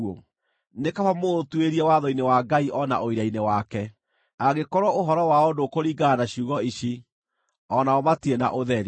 Nĩ kaba mũũtuĩrie watho-inĩ wa Ngai o na ũira-inĩ wake! Angĩkorwo ũhoro wao ndũkũringana na ciugo ici, o nao matirĩ na ũtheri.